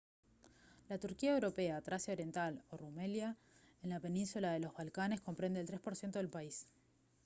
la turquía europea tracia oriental o rumelia en la península de los balcanes comprende el 3 % del país